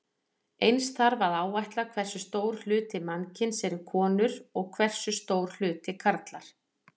Eins þarf að áætla hversu stór hluti mannkyns eru konur og hversu stór hluti karlar.